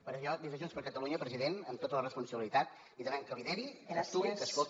per això des de junts per catalunya president amb tota la responsabilitat li demanem que lideri que actuï que escolti